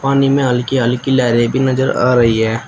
पानी में हल्की हल्की लहरें भी नजर आ रही है।